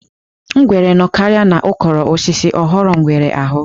Ngwere nọkarịa n'ukoro osisi ọ ghọrọ ngwere aghụ̀.